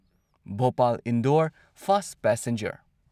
Bhopal Indore fast passenger